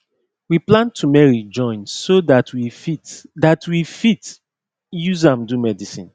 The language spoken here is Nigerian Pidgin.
we plant tumeric join so that we fit that we fit use am do medicine